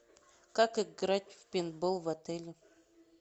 как играть в пейнтбол в отеле